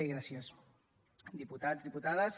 i gràcies diputats diputades